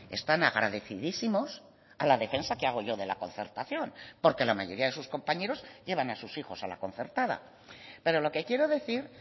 están agradecidísimos a la defensa que hago yo de la concertación porque la mayoría de sus compañeros llevan a sus hijos a la concertada pero lo que quiero decir